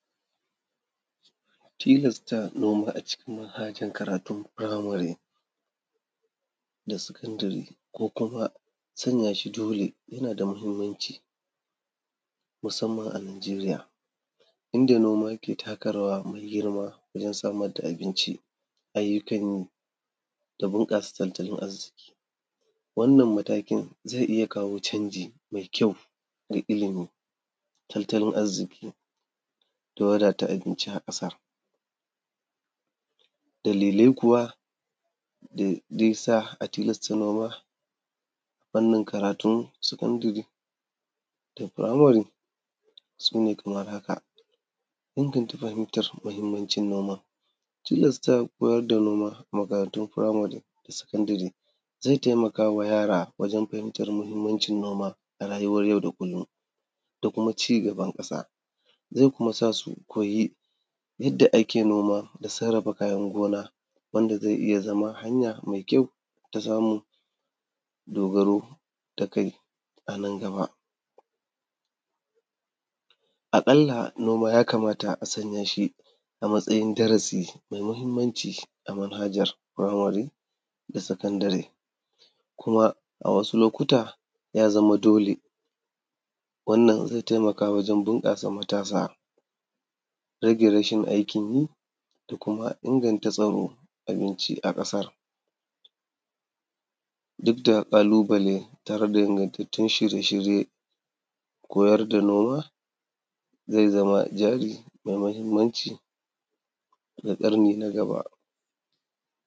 Tilasta noma a cikin manhajar karatun firamare na sekandare ko kuma sanya shi dole yana da mahimmanci musamman a Nigeria inda noma yake taka rawar girma wajen samar da abinci, ayyukan yi da bunƙasa tattalin arziki. Wannan matakin zai iya kawo canji mai kyau ga ilimi, tattalin arziki da wadata abinci a ƙasa, dalilai kuwa da zai sa a tilasta noma fannin karatun sekandare da firamari su ne kamar haka: inganta fahimtar mahimmancin noma, tilasta koyar da noma a makarantun firimari da sekondare zai taimakawa yara wajen fahimtar mahimmancin noma a rayuwar yau da kullum da kuma cigabar ƙasa, zai kuma sa su ko yi yanda ake noma da kuma sarrafa kayan gona da zai iya zama hanya mai kyau da za mu yi dogaro da kai a nan gaba. Aƙalla noma yakamata a san ya shi a matsayin darasi mai mahimmanci a manhajar firamari da sekondare kuma a wasu lokuta ya zama dole wannan zai taimakawa wajen bunƙasa matasa, rage rashin aikin yi da kuma inganta tsaron abinci a ƙasan, duk da ƙalubale tare da ingantun shirye-shirye koyar da noma zai zama jari mai mahimmanci ga ƙarni na gaba.